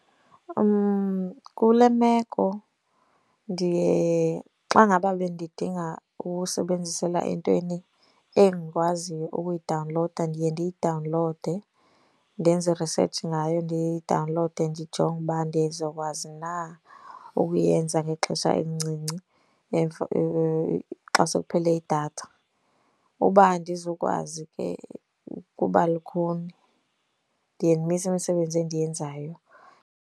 Kule meko ndiye xa ngaba bendidinga ukuwusebenzisela entweni endikwaziyo ukuyidawunlowuda ndiye ndiyidawunlowude ndenze i-research ngayo. Ndiyidawunlowude ndijonge uba ndizokwazi na ukuyenza ngexesha elincinci xa sekuphele idatha. Uba andizukwazi ke kuba lukhuni, ndiye ndimise imisebenzi endiyenzayo.